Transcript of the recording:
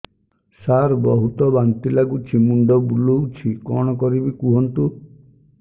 ସାର ବହୁତ ବାନ୍ତି ଲାଗୁଛି ମୁଣ୍ଡ ବୁଲୋଉଛି କଣ କରିବି କୁହନ୍ତୁ